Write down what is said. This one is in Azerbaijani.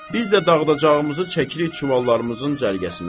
Biz də dağdacağımızı çəkirik çuvallarımızın cərgəsinə.